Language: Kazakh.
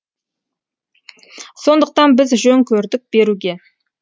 сондықтан біз жөн көрдік беруге